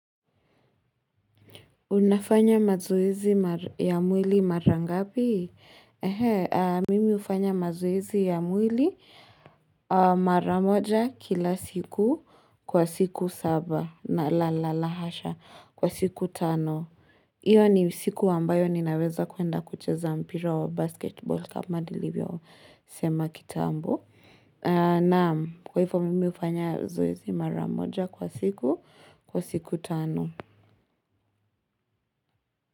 Unafanya mazoezi ya mwili mara ngapi? Mimi hufanya mazoezi ya mwili mara moja kila siku kwa siku saba na la hasha kwa siku tano. Hiyo ni siku ambayo ninaweza kuenda kucheza mpira wa basketball kama nilivyosema kitambo. Naam, kwa hivyo mimi hufanya zoezi mara moja kwa siku kwa siku tano.